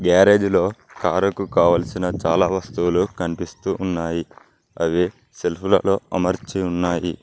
గ్యారేజ్లో కారుకు కావలసిన చాలా వస్తువులు కనిపిస్తూ ఉన్నాయి అవి సెల్ఫు లలో అమర్చి ఉన్నాయి.